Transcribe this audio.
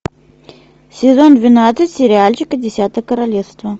сезон двенадцать сериальчика десятое королевство